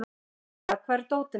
Dísella, hvar er dótið mitt?